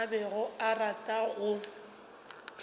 a bego a rata go